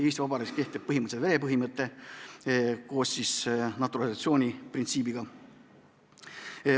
Eesti Vabariigis kehtib põhimõtteliselt verepõhimõte koos naturalisatsiooniprintsiibiga.